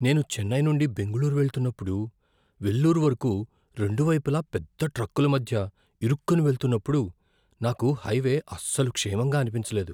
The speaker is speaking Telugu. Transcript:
నేను చెన్నై నుండి బెంగళూరు వెళ్తున్నప్పుడు, వెల్లూరు వరకు రెండు వైపులా పెద్ద ట్రక్కుల మధ్య ఇరుక్కుని వెళ్తున్నప్పుడు, నాకు హైవే అస్సలు క్షేమంగా అనిపించలేదు.